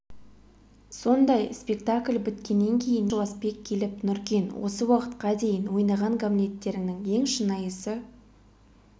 сондай спектакль біткеннен кейін еркін жуасбек келіп нұркен осы уақытқа дейін ойнаған гамлеттеріңнің ең шынайысы